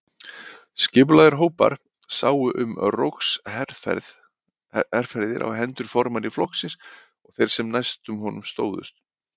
Skipulagðir hópar sáu um rógsherferðir á hendur formanni flokksins og þeim sem næstir honum stóðu.